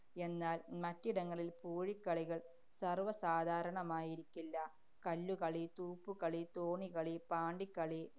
എന്നാല്‍ മറ്റിടങ്ങളില്‍ പൂഴിക്കളികള്‍ സര്‍വസാധാരണമായിരിക്കില്ല. കല്ലുകളി, തൂപ്പുകളി, തോണിക്കളി, പാണ്ടിക്കളി